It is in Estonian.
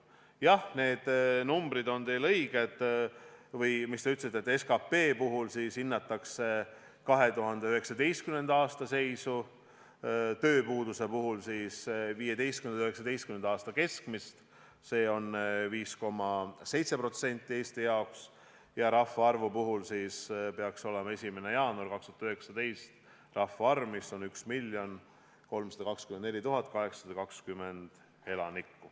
Jah, need numbrid on teil õiged või see, mis te ütlesite, et SKP puhul hinnatakse 2019. aasta seisu, tööpuuduse puhul 2015.–2019. aasta keskmist, mis Eestil on 5,7%, ning rahvaarvu puhul 1. jaanuari 2019 andmeid, mille järgi Eestis on 1 324 820 elanikku.